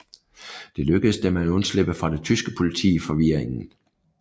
Det lykkedes dem at undslippe fra det tyske politi i forvirringen